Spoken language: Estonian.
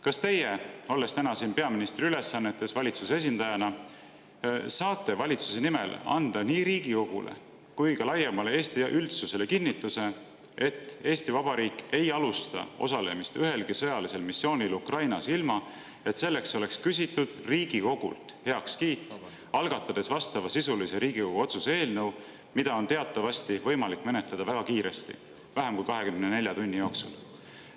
Kas teie, olles täna siin peaministri ülesannetes valitsuse esindajana, saate valitsuse nimel anda nii Riigikogule kui ka laiemale Eesti üldsusele kinnituse, et Eesti Vabariik ei alusta osalemist ühelgi sõjalisel missioonil Ukrainas, ilma et selleks oleks küsitud Riigikogult heakskiitu, algatades selle jaoks vastavasisulise Riigikogu otsuse eelnõu, mida on teatavasti võimalik menetleda väga kiiresti, vähem kui 24 tunni jooksul?